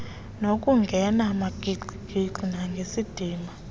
ngokungena magingxigingxi nangesidima